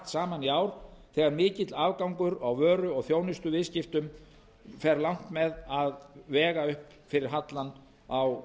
saman í ár þegar mikill afgangur á vöru og þjónustuviðskiptum fer langt með að vega upp fyrir hallann á